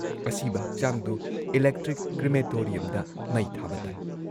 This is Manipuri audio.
"ꯑꯁꯤꯕ ꯍꯛꯆꯥꯡꯗꯨ ꯏꯂꯦꯛꯇ꯭ꯔꯤꯛ ꯀ꯭ꯔꯤꯃꯦꯇꯣꯔꯤꯌꯝꯗ ꯃꯩ ꯊꯥꯕ ꯇꯥꯏ।"